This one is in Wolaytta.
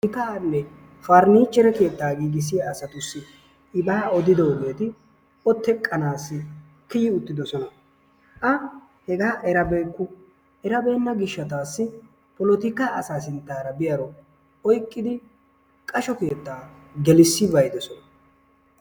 Mittaanne parnichchere keettaa giggissiya asatussi ibaa oddiddogeeti O teqqanaassi kiyi uttiddossona A hegaa erabeykku. Erabeenna gishshatassi polottikka asaa sinttaara biyaaro oyqqidi qasho keettaa gelissi be'iddosona